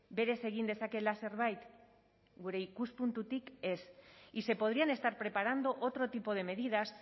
berez egin dezakeela zerbait gure ikuspuntutik ez y se podrían estar preparando otro tipo de medidas